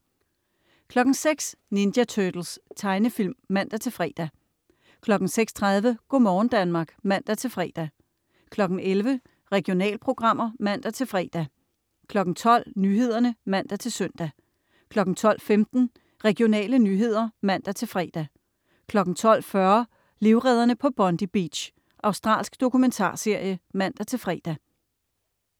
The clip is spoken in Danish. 06.00 Ninja Turtles. Tegnefilm (man-fre) 06.30 Go' morgen Danmark (man-fre) 11.00 Regionalprogrammer (man-fre) 12.00 Nyhederne (man-søn) 12.15 Regionale nyheder (man-fre) 12.40 Livredderne på Bondi Beach. Australsk dokumentarserie (man-fre)